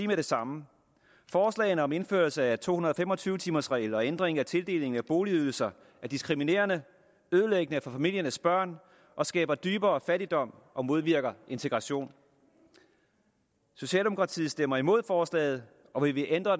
med det samme forslaget om indførelsen af en to hundrede og fem og tyve timers regel og ændringen af tildelingen af boligydelser er diskriminerende ødelæggende for familiernes børn og skaber dybere fattigdom og modvirker integration socialdemokratiet stemmer imod forslaget og vil ændre